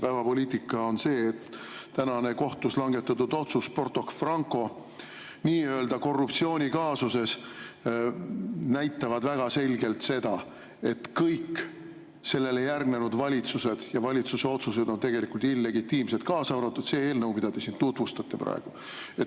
Päevapoliitika on see, et kohtus täna langetatud otsus Porto Franco nii-öelda korruptsioonikaasuses näitab väga selgelt, et kõik järgnenud valitsused ja nende valitsuste otsused on tegelikult illegitiimsed, kaasa arvatud see eelnõu, mida te siin praegu tutvustate.